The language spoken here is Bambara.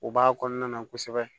U b'a kɔnɔna na kosɛbɛ